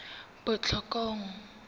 botlhokong